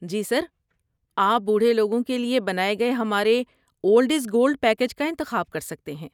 جی sir. آپ بوڑھے لوگوں کے لیے بنائے گئے ہمارے 'اولڈ از گولڈ' پیکیج کا انتخاب کر سکتے ہیں۔